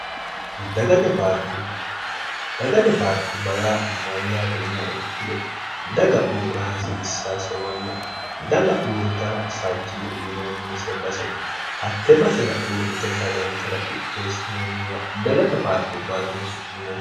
dagate paarku bayaa mayyaati inia ikkilo daga uurra hasiissaasewanna daga uurritana fajjine uyinoonnise base hatte basera uurrite sharranta ra qitteessinoonniwa dagate paarku baatine su'minnn